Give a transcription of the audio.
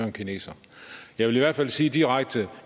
en kineser jeg vil i hvert fald sige direkte at